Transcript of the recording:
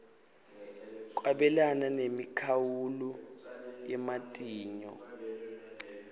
kwabelana nemikhawulo yematinyo